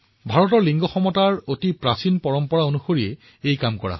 এই লিংগ সমতা ভাৰতৰ বহু পুৰণি পৰম্পৰাৰ সৈতে সামঞ্জস্যপূৰ্ণ আছিল